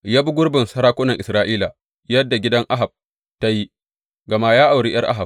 Ya bi gurbin sarakunan Isra’ila, yadda gidan Ahab ta yi, gama ya auri ’yar Ahab.